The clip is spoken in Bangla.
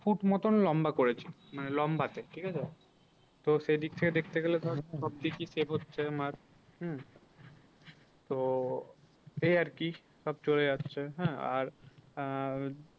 Foot মতো লম্বা করেছি মানে লম্বাতে ঠিক আছে তো সে দিক থেকে দেখতে গেলে ধর দিকই save হচ্ছে আমার হম তো এই আর কি সব চলে যাচ্ছে হ্যাঁ আর আহ